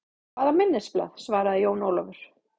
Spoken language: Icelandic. Hvaða minnisblað, svaraði Jón Ólafur.